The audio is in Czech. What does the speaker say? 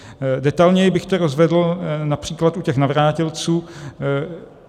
Detailněji bych to rozvedl například u těch navrátilců.